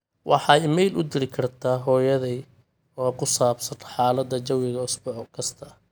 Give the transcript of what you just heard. waxaa iimayl u diri kartaa hooyaday oo ku saabsan xaalada jawiga usbuuc kasta